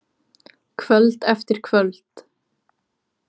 Kvöld eftir kvöld.